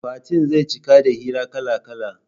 Fatin zai ciki da hira kala-kala